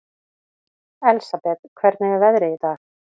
Elsabet, hvernig er veðrið í dag?